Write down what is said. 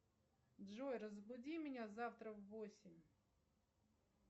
джой разбуди меня завтра в восемь